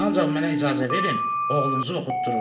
Ancaq mənə icazə verin, oğlunuzu oxutdurum.